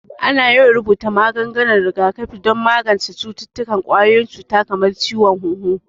Ana yawan rubuta maganin rigakafi don magance cututtukan ƙwayoyin cuta kamar ciwon hunhu